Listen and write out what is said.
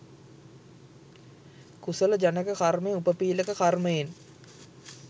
කුසල ජනක කර්මය උපපීළක කර්මයෙන්